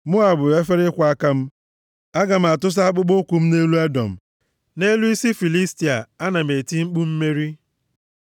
Moab bụ efere ịkwọ aka m, aga m atụsa akpụkpọụkwụ m nʼelu Edọm; nʼelu isi Filistia, ana m eti mkpu mmeri.”